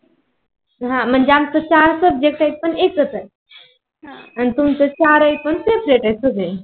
हा आमच सहा subject आहे, पण एकच आहे. आणि तुमच चार आहे पण सेपरेट सगळे